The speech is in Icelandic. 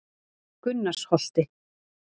Gunnarsholti